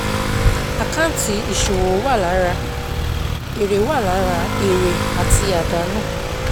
Àkáǹtì ìṣòwò wà lára èrè wà lára èrè àti àdánù.